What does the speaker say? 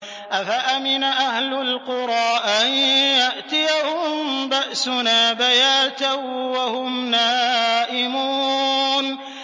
أَفَأَمِنَ أَهْلُ الْقُرَىٰ أَن يَأْتِيَهُم بَأْسُنَا بَيَاتًا وَهُمْ نَائِمُونَ